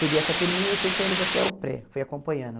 Peguei essa turminha e fui com eles até o pré, fui acompanhando.